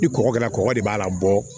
Ni kɔgɔ kɛra kɔgɔ de b'a la bɔ